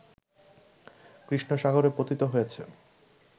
কৃষ্ণসাগরে পতিত হয়েছে